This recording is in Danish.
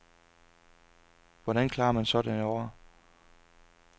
Hvordan klarer man sådan et år.